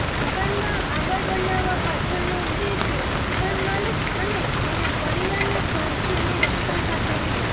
મકાનમાં આંગણ બનાવવા પાછળનો ઉદ્દેશ્ય મકાન માલિક અને તેના પરિવારના સ્વાસ્થ્યની રક્ષા સાથે છે